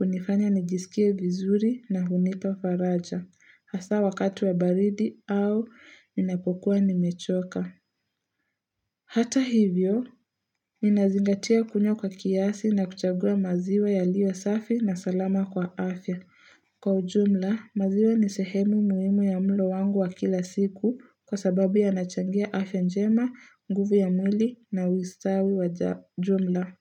unifanya nijisikie vizuri na hunipa faraja. Hasa wakati wa baridi au ninapokuwa nimechoka. Hata hivyo, ninazingatia kunywa kwa kiasi na kuchagua maziwa yaliyo safi na salama kwa afya. Kwa ujumla, maziwa ni sehemu muhimu ya mlo wangu wa kila siku kwa sababu yanachangia afya njema, nguvu ya mwili na ustawi wa ujumla.